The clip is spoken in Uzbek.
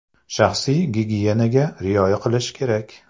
Shaxsiy gigiyenaga rioya qilish kerak.